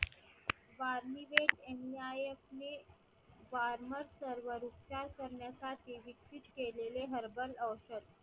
वारमीवेट हे farmer server च्या कारण्यासाटी केलेले herbal औषध